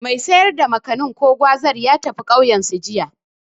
Mai sayar da Makanin/Gwazar ya tafi ƙauyensu, jiya.